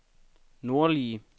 nordlige